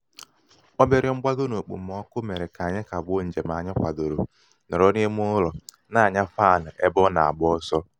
obere mgbago n'okpomọkụ mere ka anyi kagbuo njem anyị kwadoro nọrọ n'ime ụlọ na-anya fanị ebe ọ na -agba ọsọ.